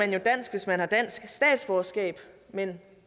hvis man har dansk statsborgerskab men